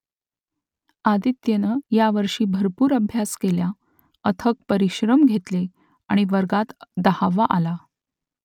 आदित्यनं यावर्षी भरपूर अभ्यास केला अथक परिश्रम घेतले आणि वर्गात दहावा आला